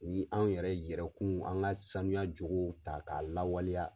Ni anw yɛrɛ yɛrɛkun an ka sanuya jogow ta k'a lawaleya.